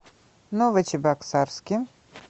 новочебоксарске